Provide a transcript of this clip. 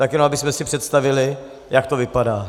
Tak jenom abychom si představili, jak to vypadá.